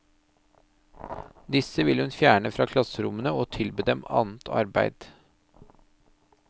Disse vil hun fjerne fra klasserommene og tilby dem annet arbeid.